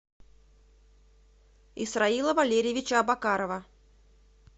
исроила валерьевича абакарова